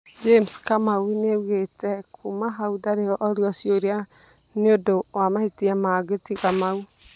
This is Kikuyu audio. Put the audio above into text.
James Kamau niaugĩte kuma hau ndarĩ orio ciũria nĩũndũ wa mahĩtia mangĩ tiga mau.